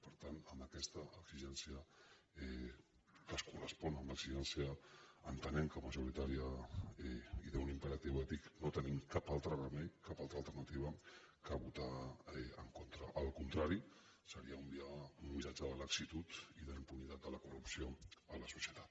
per tant amb aquesta exigència que es correspon amb l’exigència entenem que majoritària i d’un impe·ratiu ètic no tenim cap altre remei cap altra alterna·tiva que votar en contra el contrari seria un missatge de laxitud i d’impunitat de la corrupció a la societat